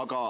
Aga